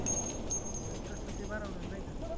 तर तसं ते बनवणार नाही का l